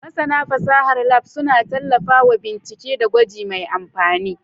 Masana fasahar Lab suna tallafawa bincike da gwaji mai amfani.